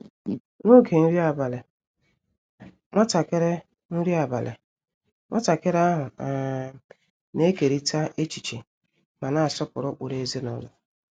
N’oge nri abalị, nwatakịrị nri abalị, nwatakịrị ahụ um na-ekeriita echiche ma na-asọpụrụ ụkpụrụ ezinụlọ.